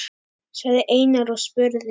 sagði Einar og spurði.